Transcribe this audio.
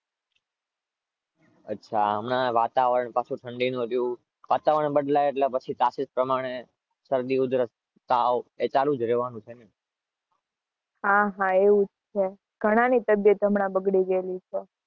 અચ્છા હમણાં વતવારણ ઠંડીનું